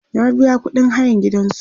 ya biya ƙuɗin hayan gidansu